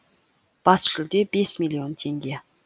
бас жүлде бес миллион теңге